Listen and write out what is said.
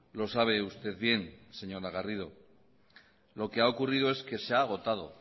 lo sabe usted bien señora garrido lo que ha ocurrido es que se ha agotado